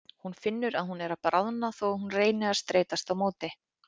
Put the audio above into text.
Hún finnur að hún er að bráðna þó að hún reyni að streitast á móti.